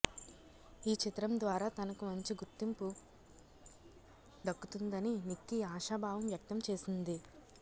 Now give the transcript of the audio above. ఈ చిత్రం ద్వారా తనకు మంచి గుర్తింపు దక్కుతుందని నిక్కీ ఆశాభావం వ్యక్తం చేసింది